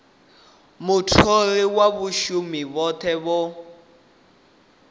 mutholi na vhashumi vhothe vho